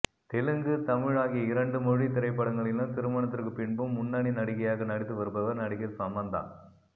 தெலுங்கு தமிழ் ஆகிய இரண்டு மொழி திரைப்படங்களிலும் திருமணத்திற்கு பின்பும் முன்னணி நடிகையாக நடித்து வருபவர் நடிகை சமந்தா